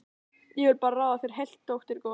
Ég vil bara ráða þér heilt, dóttir góð.